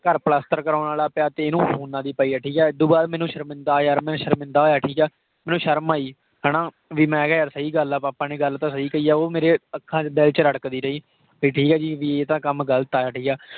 ਘਰ ਪਲਸਤਰ ਕਰਾਉਣ ਵਾਲਾ ਪਿਆ ਤੇ ਇਹ ਨੂੰ phone ਦੀ ਪਈ ਆ। ਠੀਕ ਆ? ਇਹ ਤੋਂ ਬਾਅਦ ਮੈਨੂੰ ਸ਼ਰਮਿੰਦਾ ਯਾਰ, ਸ਼ਰਮਿੰਦਾ ਹੋਇਆ ਮੈਂ, ਠੀਕ ਆ। ਮੈਨੂੰ ਸ਼ਰਮ ਆਈ ਹਨਾ । ਭੀ ਮੈਂ ਕਿਹਾ ਯਾਰ ਸਹੀ ਗੱਲ ਆ। papa ਨੇ ਗੱਲ ਤਾਂ ਸਹੀ ਕਹੀ ਆ। ਉਹ ਮੇਰੇ ਆਖਾਂ ਵਿਚ, ਦਿਲ ਵਿਚ ਰੜਕਦੀ ਰਹੀ। ਠੀਕ ਆ ਜੀ, ਭੀ ਇਹ ਤਾਂ ਕੱਮ ਗਲਤ ਆ। ਠੀਕ ਆ।